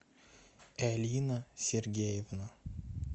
элина сергеевна